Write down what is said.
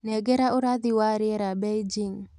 nengera ũrathi wa rĩera wa beijing